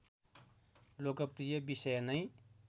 लोकप्रिय विषय नै